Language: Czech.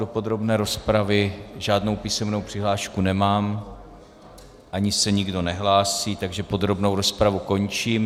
Do podrobné rozpravy žádnou písemnou přihlášku nemám ani se nikdo nehlásí, takže podrobnou rozpravu končím.